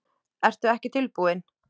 Ertu ekki tilbúinn?